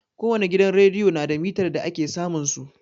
Ko wani gidan rediyo na da mitar da ake samun su.